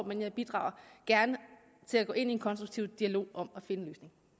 men jeg bidrager gerne til at gå ind i en konstruktiv dialog om at finde